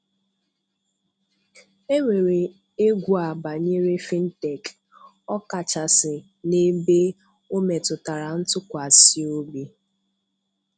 Enwere egwu a banyere Fintech, ọ kachasị n'ebe ọ metụtara ntụkwasị obi.